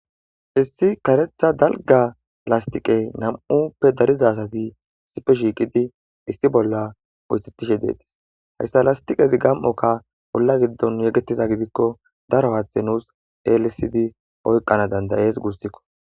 issi karetha dalga lastiqey nam7uppe dariza sati sipe shiiqidi issi bolla oythetishe deetis hayssa lastiqezi gam7okka bolla giddon yegettiza gidikko daro aaththe nuus elisidi oyqana dandayees guussikko